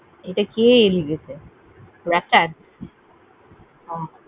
এটা কে লিখেছে?